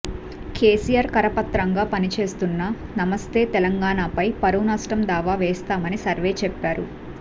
కేసీఆర్ కరపత్రంగా పనిచేస్తున్న నమస్తే తెలంగాణపై పరువునష్టం దావా వేస్తామని సర్వే చెప్పారు